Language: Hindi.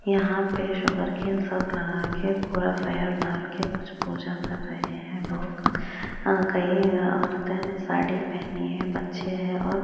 यहाँ पे सुगरकेन सब लगा के पूरा फायर डाल के कुछ पूजा कर रहे हैं लोग कई अ-औरते ने साड़ी पहनी है बच्चे हैं और--